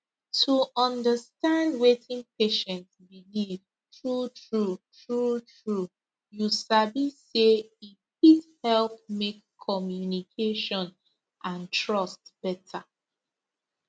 to understand wetin patient believe truetrue truetrue you sabi say e fit help make communication and trust better